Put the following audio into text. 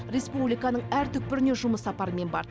республиканың әр түкпіріне жұмыс сапарымен барды